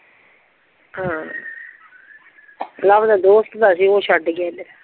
ਹਾਂ ਲਵ ਦੇ ਦੋਸਤ ਦਾ ਸੀ ਓ ਛੱਡ ਗਿਆ ਏਦਰ